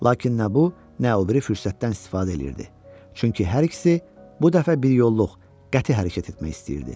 Lakin nə bu, nə o biri fürsətdən istifadə edirdi, çünki hər ikisi bu dəfə biryolluq qəti hərəkət etmək istəyirdi.